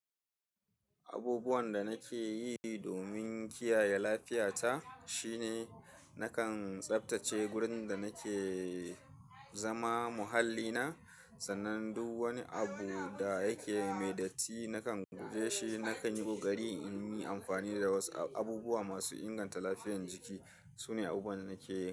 Abubuwan da nake yi domin kiyaye lafiyata shine nakan tsaftace gurin da nake zama muhalli na. Sannan duk wani abu da yake mai datti nakan guje shi. Nakan yi ƙoƙari in yi amfani da wasu abubuwa masu inganta lafiyar jiki. Su ne abubuwan nake yi.